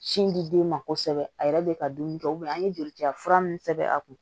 Sin di den ma kosɛbɛ a yɛrɛ bɛ ka dumuni kɛ an ye jolici fura min sɛbɛn a kun